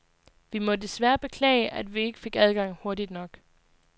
Vi må desværre beklage, at vi ikke fik adgang hurtigt nok.